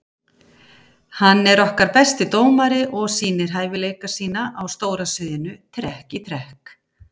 Hann er okkar besti dómari og sýnir hæfileika sína á stóra sviðinu trekk í trekk.